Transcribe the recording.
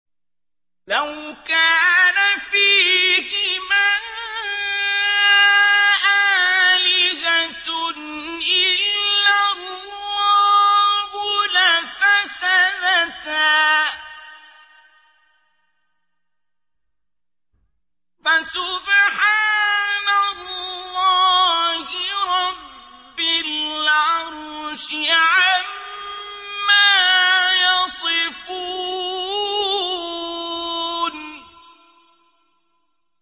لَوْ كَانَ فِيهِمَا آلِهَةٌ إِلَّا اللَّهُ لَفَسَدَتَا ۚ فَسُبْحَانَ اللَّهِ رَبِّ الْعَرْشِ عَمَّا يَصِفُونَ